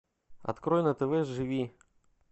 открой на тв живи